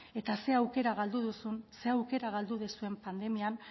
eta zer aukera galdu duzun zer aukera galdu duzuen pandemian